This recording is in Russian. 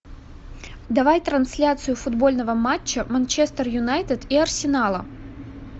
давай трансляцию футбольного матча манчестер юнайтед и арсенала